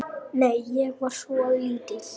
Nei, ég var svo lítil.